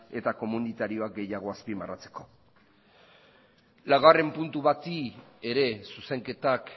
eta komunitarioak gehiago azpimarratzeko laugarren puntu bati ere zuzenketak